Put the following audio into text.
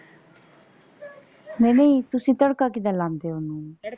ਨਹੀਂ ਨਹੀਂ ਤੁਸੀਂ ਤੜਕਾ ਕਿਦਾਂ ਲਾਉਂਦੇ ਹੋ ਓਹਨੂੰ?